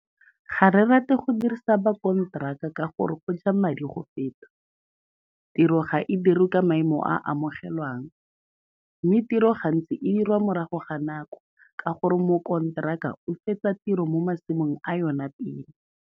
Ga re rate go dirisa bakonteraka ka gore go ja madi go feta, tiro ga e dirwe ka maemo a a amogelwang, mme tiro gantsi e dirwa morago ga nako ka gore mokonteraka o fetsa tiro mo masimong a yona pele.